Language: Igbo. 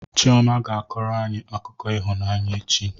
Chioma ga-akọrọ anyị akụkọ ịhụnanya echi.